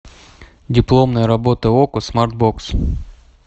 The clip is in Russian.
дипломная работа окко смартбокс